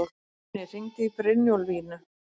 Ölnir, hringdu í Brynjólfínu.